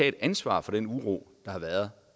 et ansvar for den uro der har været